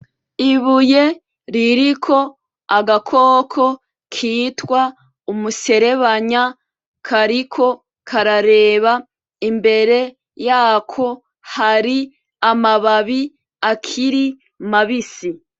Ibuye ririko agakoko kitwa umuserebanya ,kariko karareba imbere yako ,hari amababi akiri mabisi.